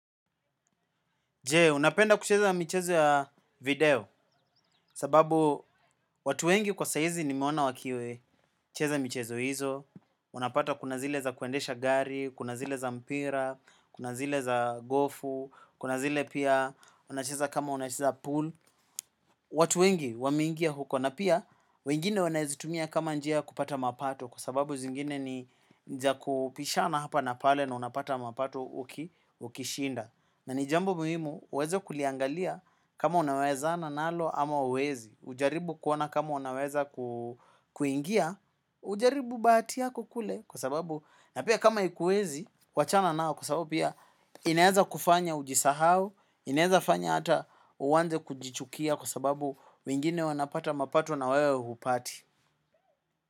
Jee, unapenda kucheza michezo ya video sababu watu wengi kwa saizi ni mewaona wakiwe cheza michezo hizo, unapata kuna zile za kuendesha gari, kuna zile za mpira, kuna zile za gofu, kuna zile pia unacheza kama unacheza pool, watu wengi wamingia huko na pia wengine wanazitumia kama njia kupata mapato kwa sababu zingine ni za kupishana hapa na pale na unapata mapato ukishinda. Na ni jambo muhimu, uweze kuliangalia kama unaweza na nalo ama uwezi. Ujaribu kuona kama unaweza kuingia, ujaribu bahati yako kule kwa sababu na pia kama ikuezi, wachana nao kwa sababu pia ineza kufanya ujisahao, ineza fanya ata uwanze kujichukia kwa sababu wengine wanapata mapato na wewe hupati.